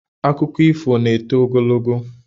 Akụkọ ifo na-eto ogologo